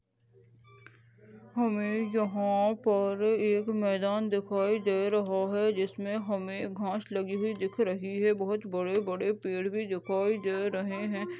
हमे यहाँ पर एक मैदान दिखाई दे रहा है जिसमे हमें घास लगी हुई दिख रही है बहुत बड़े बड़े पेड़ भी दिखाई दे रहे है।